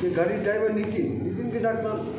যে গাড়ির driver নিতীন নিতীনকে ডাকলাম